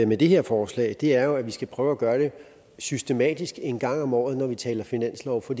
med det her forslag er jo at vi skal prøve at gøre det systematisk en gang om året når vi taler finanslov for